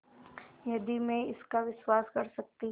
यदि मैं इसका विश्वास कर सकती